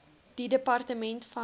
die departement van